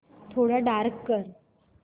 थोडा डार्क कर